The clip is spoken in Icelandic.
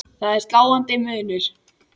Það er sláandi munur.